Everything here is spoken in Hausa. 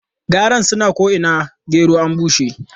Garan suna ko'ina gero an bushe.